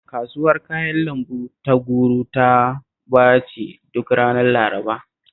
Kasuwar Kayan lambu ta Garu taba ci duk ranar Laraba